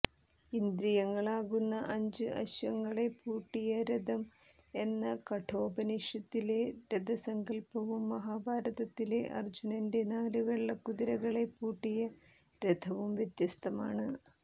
ഇന്ദ്രിയങ്ങളാകുന്ന അഞ്ച് അശ്വങ്ങളെ പൂട്ടിയ രഥം എന്ന കഠോപനിഷത്തിലെ രഥസങ്കല്പ്പവും മഹാഭാരതത്തിലെ അര്ജ്ജുനന്റെ നാല് വെള്ളക്കുതിരകളെ പൂട്ടിയ രഥവും വ്യത്യസ്തമാണ്